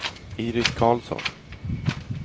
Iris Carlsson